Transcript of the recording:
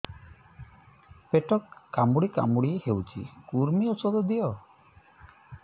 ପେଟ କାମୁଡି କାମୁଡି ହଉଚି କୂର୍ମୀ ଔଷଧ ଦିଅ